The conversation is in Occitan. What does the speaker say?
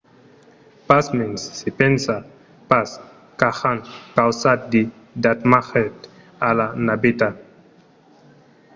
pasmens se pensa pas qu'ajan causat de damatges a la naveta